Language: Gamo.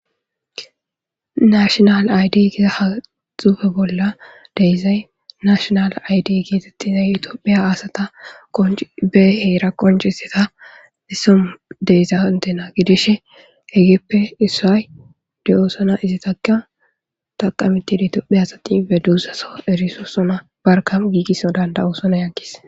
nashonal aydi giza haxufe bolla deyzay nashonal aydi geexexizay itiophiya asata obe heera qonciseta issomu deysa hontena gidishe egippe issaay diyoosona izitaka taqameti itophe asatife duusaso erisoosona barkam giigisso danda7oosona yankis